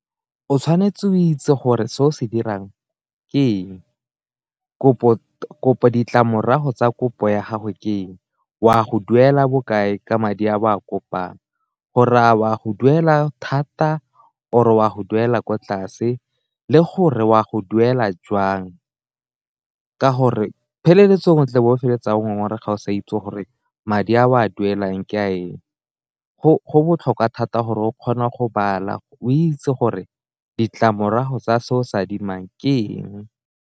O tshwanetse o itse gore se o se dirang ke eng ditlamorago tsa kopo ya gago ke eng, o a go duela bokae ka madi a bo a kopang, gore a o a go duela thata or o a go duela kwa tlase, le gore o a go duela jwang ka gore pheleletsong o tle o bo o feleletsang o sa itse gore madi a o a duelang ke a eng. Go botlhokwa thata gore o kgona go o itse gore ditlamorago tsa seo o se adimang ke eng.